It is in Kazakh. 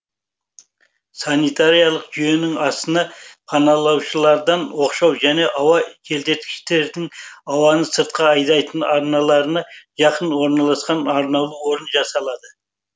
санитариялық жүйенің астына паналаушылардан оқшау және ауа желдеткішінің ауаны сыртқа айдайтын арналарына жақын орналасқан арнаулы орын жасалады